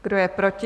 Kdo je proti?